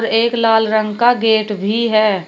एक लाल रंग का गेट भी है।